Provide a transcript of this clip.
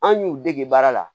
An y'u dege baara la